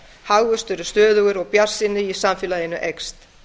hagvöxtur er stöðugur og bjartsýni í samfélaginu eykst